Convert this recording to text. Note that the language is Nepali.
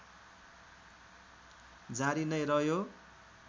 जारी नै रह्यो